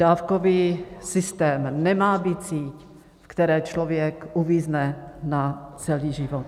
Dávkový systém nemá být sítí, ve které člověk uvízne na celý život.